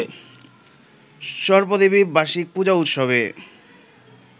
সর্পদেবীর বার্ষিক পূজা উৎসবে